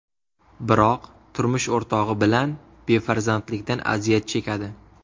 Biroq turmush o‘rtog‘i bilan befarzandlikdan aziyat chekadi.